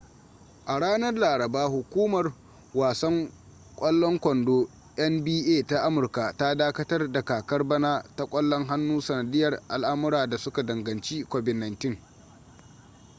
a ranar laraba hukumar wasan kwalon kondo nba ta amurka ta dakatar da kakar bana ta kwallon hannu sanadiyar al’amura da suka danganci covid-19